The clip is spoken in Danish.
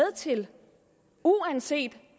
til uanset